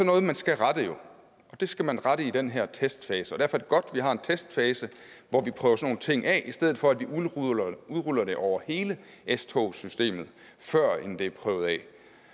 noget man skal rette og det skal man rette i den her testfase derfor er det godt at vi har en testfase hvor vi prøver sådan nogle ting af i stedet for at vi udruller udruller det over hele s togssystemet førend det er prøvet af